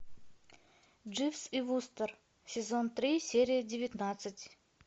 дживс и вустер сезон три серия девятнадцать